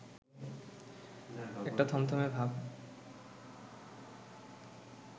একটা থমথমে ভাব